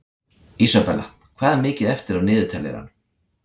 Isabella, hvað er mikið eftir af niðurteljaranum?